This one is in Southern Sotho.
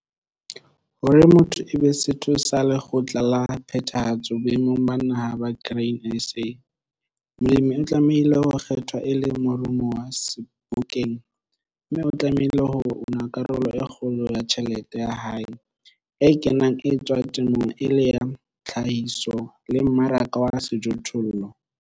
Hore motho e be setho sa Lekgotla la Phethahatso boemong ba Naha ba Grain SA, molemi o tlamehile ho kgethwa e le morumuwa Sebokeng, mme o tlamehile ho 'una karolo e kgolo ya tjhelete ya hae e kenang e etswa temong e le ya tlhahiso le mmaraka wa sejothollo. 12.3.